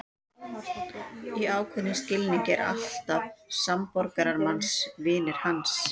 Í ákveðnum skilningi eru allir samborgarar manns vinir hans.